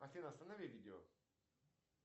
афина останови видео